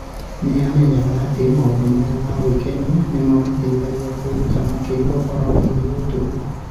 Nĩ aamenyaga atĩ maũndũ maya ma gwĩkenia nĩ mamũteithagia kwĩruta makĩria ũhoro wĩgiĩ ũtũũro.